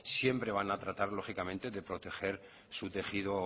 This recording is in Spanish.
siempre van a tratar lógicamente de proteger su tejido